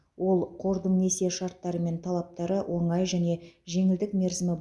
ол қордың несие шарттары мен талаптары оңай және жеңілдік мерзімі